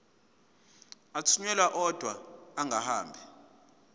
athunyelwa odwa angahambi